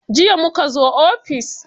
Jiya muka zo ofis.